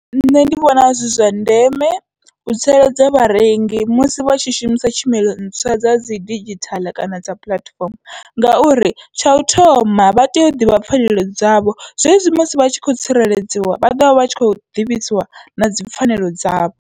Nṋe ndi vhona zwi zwa ndeme u tsireledza vharengi musi vha tshi shumisa tshumelo ntswa dza dzi digithaḽa kana dza puḽatifomo, ngauri tsha u thoma vha tea u ḓivha pfhanelo dzavho, zwezwi musi vhatshi kho tsireledziwa vha ḓovha vha tshi kho ḓivhisiwa nadzi pfhanelo dzavho.